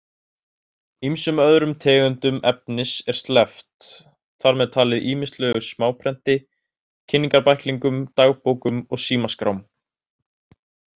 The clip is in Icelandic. Ýmsum öðrum tegundum efnis er sleppt, þar með talið ýmislegu smáprenti, kynningarbæklingum, dagbókum og símaskrám.